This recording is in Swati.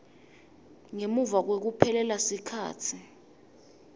ngemuva kwekuphelelwa sikhatsi